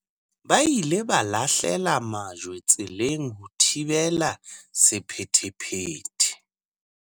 Ba ile ba lahlela majwe tseleng ho thibela sephethephethe.